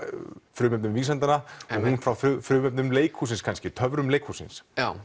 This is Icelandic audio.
frumefnum vísindanna og hún frá frumefnum leikhússins kannski töfrum leikhússins já